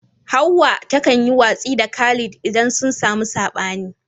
Hawwa takan yi watsi da Khalid idan sun samu sabani.